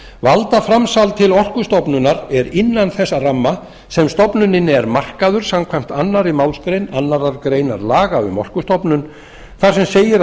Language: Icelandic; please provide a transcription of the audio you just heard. valdaframsal til orkustofnunar er innan þess ramma sem stofnuninni er markaður samkvæmt annarri málsgrein annarrar greinar laga um orkustofnun þar sem segir að